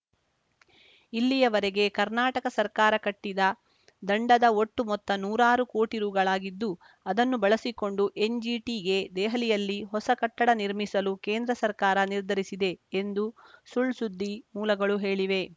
ಇಲ್ಲಿಯವರೆಗೆ ಕರ್ನಾಟಕ ಸರ್ಕಾರ ಕಟ್ಟಿದ ದಂಡದ ಒಟ್ಟು ಮೊತ್ತ ನೂರಾರು ಕೋಟಿ ರುಗಳಾಗಿದ್ದು ಅದನ್ನು ಬಳಸಿಕೊಂಡು ಎನ್‌ಜಿಟಿಗೆ ದೆಹಲಿಯಲ್ಲಿ ಹೊಸ ಕಟ್ಟಡ ನಿರ್ಮಿಸಲು ಕೇಂದ್ರ ಸರ್ಕಾರ ನಿರ್ಧರಿಸಿದೆ ಎಂದು ಸುಳ್‌ಸುದ್ದಿ ಮೂಲಗಳು ಹೇಳಿವೆ